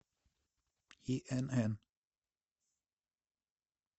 инн